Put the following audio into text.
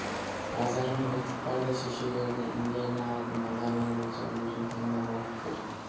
базарға ертіп бар да шешелеріне інілеріне алатын базарлығы болса өзің таңдап алып бер